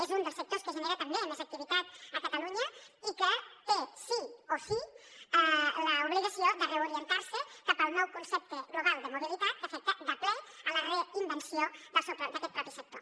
és un dels sectors que genera també més activitat a catalunya i que té sí o sí l’obligació de reorientar se cap al nou concepte global de mobilitat que afecta de ple la reinvenció d’aquest mateix sector